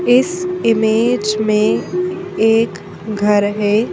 इस इमेज में एक घर है।